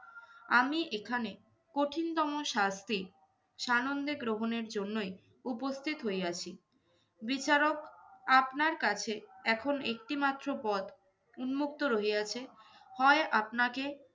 আমি এখানে কঠিনতম শাস্তি সানন্দে গ্রহণের জন্যই উপস্থিত হইয়াছি। বিচারক আপনার কাছে এখন একটি মাত্র পথ উন্মুক্ত রহিয়াছে, হয় আপনাকে